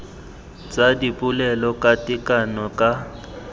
tsa dipolelo ka tekano ka